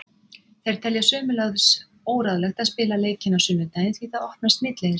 Þeir telja sömuleiðis óráðlegt að spila leikinn á sunnudaginn því það opnar smitleiðir.